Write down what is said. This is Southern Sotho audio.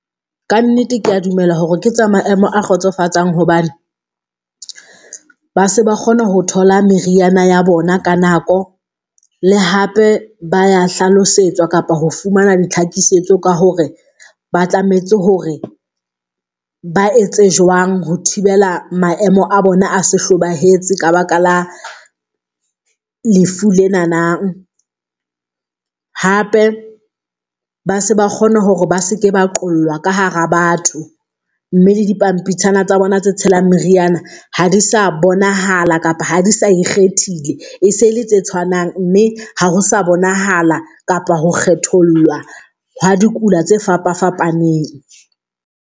Ka nnete ke a dumela hore ke tsa maemo a kgotsofatsang hobane, ba se ba kgona ho thola meriana ya bona ka nako, le hape ba ya hlalosetswa kapa ho fumana ditlhakisetso ka hore ba tlametse hore ba etse jwang ho thibela maemo a bona a se hlobahetse ka baka la lefu lena hape, base ba kgona hore ba seke ba qollwa ka hara batho. Mme le di pampitshana tsa bona tse tshelang meriana ha di sa bonahala kapa ha di sa ikgethile e se le tse tshwanang, mme ha ho sa bonahala kapa ho kgethollwa ha dikula tse fapafapaneng.